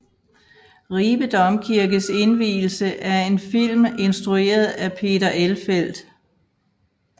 Ribe Domkirkes indvielse er en film instrueret af Peter Elfelt